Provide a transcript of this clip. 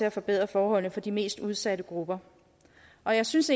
at forbedre forholdene for de mest udsatte grupper og jeg synes